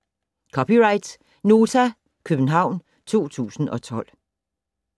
(c) Nota, København 2012